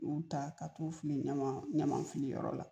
U taa ka t'u fili ɲaman ɲaman fili yɔrɔ la